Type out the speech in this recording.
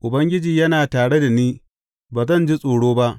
Ubangiji yana tare da ni; ba zan ji tsoro ba.